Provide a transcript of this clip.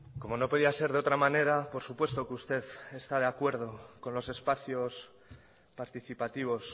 como no podía ser de otra manera por supuesto que usted está de acuerdo con los espacios participativos